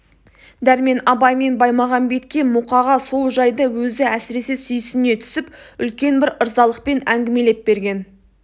дәрмен абай мен баймағамбетке мұқаға сол жайды өзі әсіресе сүйсіне түсіп үлкен бір ырзалықпен әңгімелеп берген